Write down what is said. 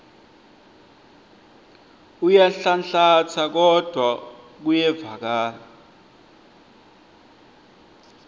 uyanhlanhlatsa kodvwa kuyevakala